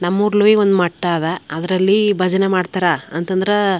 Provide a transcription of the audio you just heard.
ನಮ್ಮೂರ್ಲಿ ಹಿಂಗೇ ಒಂದು ಮಠ ಅದ ಅದ್ರಲ್ಲಿ ಭಜನೆ ಮಾಡ್ತಾರ ಅಂತಂದ್ರ --